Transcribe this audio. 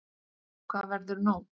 Hvað verður nú?